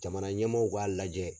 Jamana ɲɛmaaw k'a lajɛ